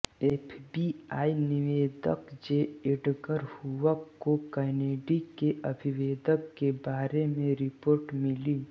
FBI निदेशक J Edgar Hoover को Kennedy के अविवेक के बारे में रिपोर्ट मिली